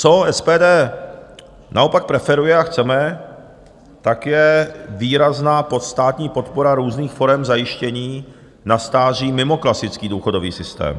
Co SPD naopak preferuje a chceme, tak je výrazná státní podpora různých forem zajištění na stáří mimo klasický důchodový systém.